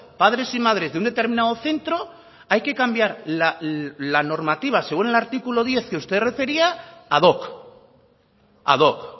padres y madres de un determinado centro hay que cambiar la normativa según el artículo diez que usted refería ad hoc ad hoc